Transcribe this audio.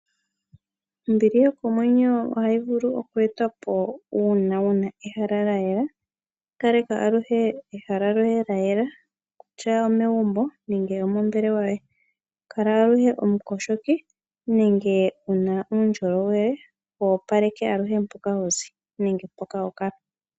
Ombili yokomwenyo ohayi vulu oku etwapo una wuna ehala lya yela. Kaleka aluhe ehala lyoye lya yela, okutya omegumbo nenge omo mbelewa yoye. Kala aluhe omukoshoki nenge wu na uundjolowele wu opaleke aluhe mpoka hozi nenge mpoka hokala.